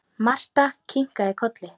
Marta kinkaði kolli.